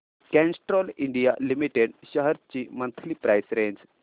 Castrol India limited shares ची monthly price range